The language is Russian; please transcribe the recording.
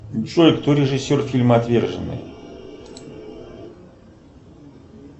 джой кто режиссер фильма отверженные